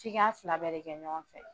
F'i k'a fila bɛɛ de kɛ ɲɔgɔn fɛ